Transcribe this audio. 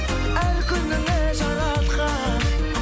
әр күніңе жаратқан